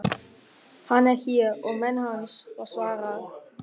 Hann er hér og menn hans, var svarað.